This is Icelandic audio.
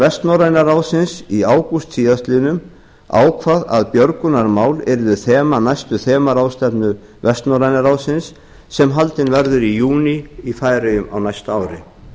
vestnorræna ráðsins í ágúst síðastliðnum ákvað að björgunarmál yrðu þema næstu þemaráðstefnu vestnorræna ráðsins sem haldin verður í júní í færeyjum á næsta ári